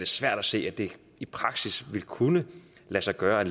svært at se at det i praksis vil kunne lade sig gøre at